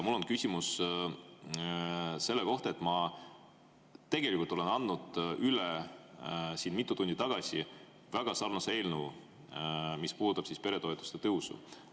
Mul on küsimus selle kohta, et ma siin mitu tundi tagasi andsin üle väga sarnase eelnõu peretoetuste tõusu kohta.